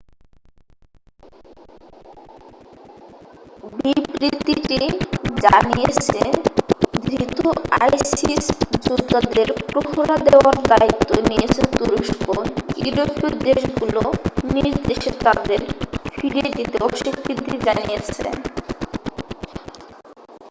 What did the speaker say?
বিবৃতিটি জানিয়েছে ধৃত আইসিস যোদ্ধাদের প্রহরা দেওয়ার দায়িত্ব নিয়েছে তুরস্ক ইউরোপীয় দেশগুলো নিজ দেশে তাদের ফিরিয়ে নিতে অস্বীকৃতি জানিয়েছে